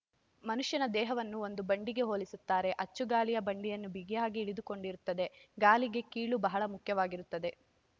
ಮನುಷ್ಯನ ದೇಹವನ್ನು ಒಂದು ಬಂಡಿಗೆ ಹೋಲಿಸುತ್ತಾರೆ ಅಚ್ಚು ಗಾಲಿ ಬಂಡಿಯನ್ನು ಬಿಗಿಯಾಗಿ ಹಿಡಿದುಕೊಂಡಿರುತ್ತದೆ ಗಾಲಿಗೆ ಕೀಲು ಬಹಳ ಮುಖ್ಯವಾಗಿರುತ್ತದೆ